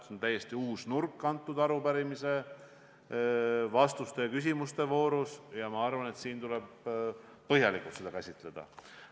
See on täiesti uus nurk selle arupärimise küsimuste ja vastuste voorus ning ma arvan, et seda tuleb põhjalikult käsitleda.